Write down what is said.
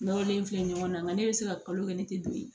Nɔrɔlen filɛ ɲɔgɔn na nga ne bɛ se ka kalo kɛ ne tɛ don ye